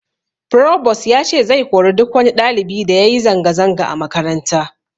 Frobos ya ce zai kori duk wani ɗalibi da yayi zanga zanga a makaranta